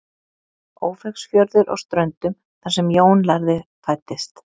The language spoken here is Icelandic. ófeigsfjörður á ströndum þar sem jón lærði fæddist